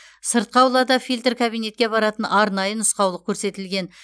сыртқы аулада фильтр кабинетке баратын арнайы нұсқаулық көрсетілген